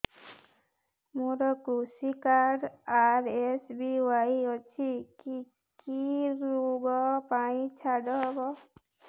ମୋର କୃଷି card RSBY ଅଛି କି କି ଋଗ ପାଇଁ ଛାଡ଼ ହବ